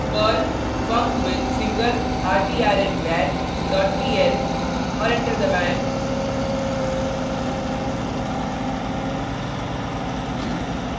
perl funcwithsinglertrnval dot pl और enter दबाएँ